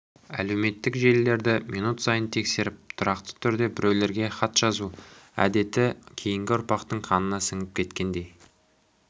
әлеуметтік желілерді минут сайын тексеріп тұрақты түрде біреулерге хат жазу әдеті кейінгі ұрпақтың қанына сіңіп кеткендей